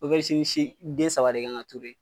si ni si den saba de kan ka turu